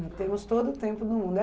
Temos todo o tempo do mundo.